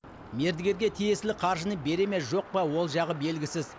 мердігерге тиесілі қаржыны бере ме жоқ па ол жағы белгісіз